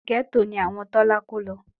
Gẹ́tò ni àwọn Tọ́lá kó lọ